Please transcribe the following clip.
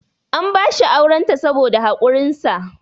an bashi aurenta saboda haƙurinsa